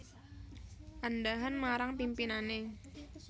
Andhahan marang pimpinane